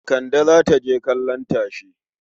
Kande za ta je kallon tashe.